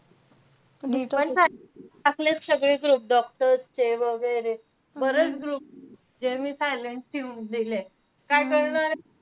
मी पण टाकलेय~ टाकलेत सगळे group doctors चे वैगेर. बरेच group जे मी silent ठिऊन दिलेत. काय करणार?